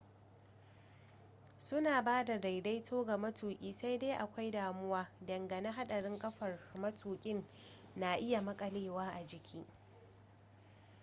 su na ba da daidaito ga matuki sai dai akwai damuwa dangane hadarin kafar matukin na iya makalewa a jiki